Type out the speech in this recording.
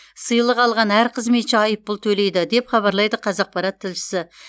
сыйлық алған әр қызметші айыппұл төлейді деп хабарлайды қазақпарат тілшісі